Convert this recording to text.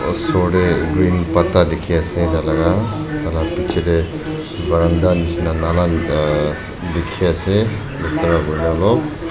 osor te green patta dekhi ase tailaga piche te waranda nishia nala dekhi ase log.